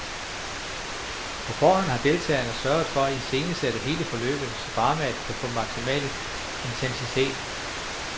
På forhånd har deltagerne sørget for at iscenesætte hele forløbet, så dramaet kan få maksimal intensitet.